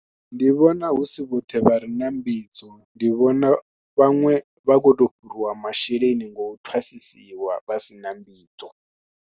Ndi vhona hu si vhoṱhe vha re na mbidzo, ndi vhona vhaṅwe vha khou tou fhuriwa masheleni ngo u thwasisiwa vha si na mbidzo.